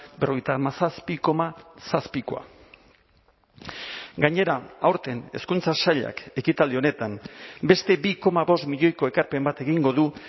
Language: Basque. berrogeita hamazazpi koma zazpikoa gainera aurten hezkuntza sailak ekitaldi honetan beste bi koma bost milioiko ekarpen bat egingo du